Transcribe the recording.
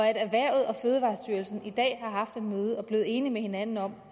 erhvervet og fødevarestyrelsen i dag har haft et møde og er blevet enige med hinanden om